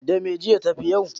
Da me, jiya ta fi yau?